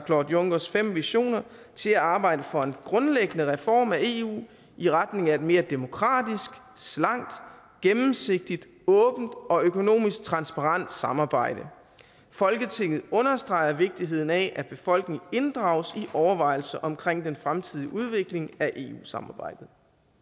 claude junckers fem visioner til at arbejde for en grundlæggende reform af eu i retning af et mere demokratisk slankt gennemsigtigt åbent og økonomisk transparent samarbejde folketinget understreger vigtigheden af at befolkningen inddrages i overvejelser omkring den fremtidige udvikling af eu samarbejdet